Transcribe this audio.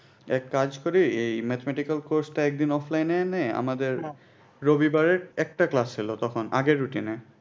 এক কাজ করি এই mathematical course টা একদিন offline এ নে আমাদের রবিবারে একটা class ছিল তখন আগের routine এ